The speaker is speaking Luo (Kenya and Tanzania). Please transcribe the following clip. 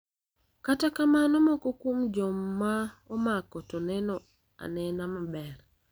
kata kamano moko kuom joma omako to neno anena maber.